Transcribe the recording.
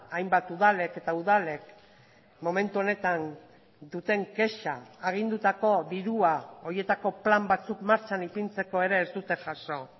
hainbat udalek eta udalek momentu honetan duten kexa agindutako dirua horietako plan batzuk martxan ipintzeko ere ez dute jaso